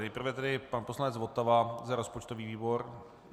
Nejprve tedy pan poslanec Votava za rozpočtový výbor?